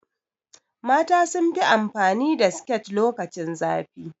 Mata sunfi amfani da siket lokacin zafi